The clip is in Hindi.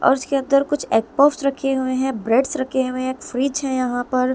और इसके अंदर कुछ एग पफ्स रखे हुए हैं ब्रेड्स रखे हुए हैं फ्रिज है यहां पर----